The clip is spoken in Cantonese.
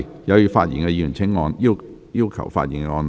有意發言的議員請按下"要求發言"按鈕。